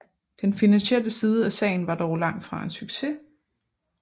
Den finansielle side af sagen var dog langt fra en succes